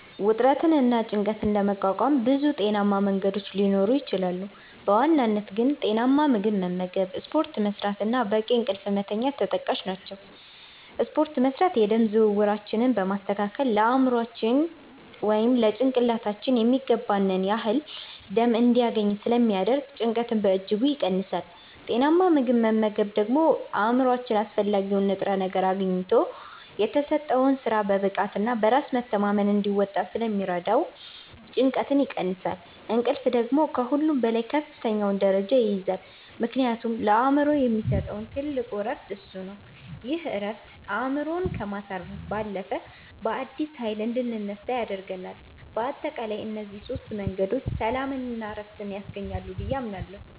ውጥረትንና ጭንቀትን ለመቋቋም ብዙ ጤናማ መንገዶች ሊኖሩ ይችላሉ፤ በዋናነት ግን ጤናማ ምግብ መመገብ፣ ስፖርት መስራት እና በቂ እንቅልፍ መተኛት ተጠቃሽ ናቸው። ስፖርት መስራት የደም ዝውውራችንን በማስተካከል ለአእምሯችን (ጭንቅላታችን) የሚገባውን ያህል ደም እንዲያገኝ ስለሚያደርግ ጭንቀትን በእጅጉ ይቀንሳል። ጤናማ ምግብ መመገብ ደግሞ አእምሯችን አስፈላጊውን ንጥረ ነገር አግኝቶ የተሰጠውን ሥራ በብቃትና በራስ መተማመን እንዲወጣ ስለሚረዳው ጭንቀትን ይቀንሳል። እንቅልፍ ደግሞ ከሁሉም በላይ ከፍተኛውን ደረጃ ይይዛል፤ ምክንያቱም ለአእምሮ የሚሰጠው ትልቁ ዕረፍት እሱ ነው። ይህ ዕረፍት አእምሮን ከማሳረፍ ባለፈ፣ በአዲስ ኃይል እንድንነሳ ያደርገናል። በአጠቃላይ እነዚህ ሦስት መንገዶች ሰላምና ዕረፍት ያስገኛሉ ብዬ አምናለሁ።